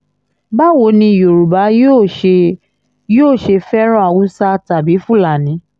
báwo ni yorùbá yóò ṣe yóò ṣe fẹ́ràn haúsá tàbí fúlàní